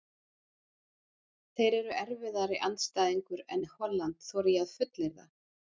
Þeir eru erfiðari andstæðingur en Holland þori ég að fullyrða.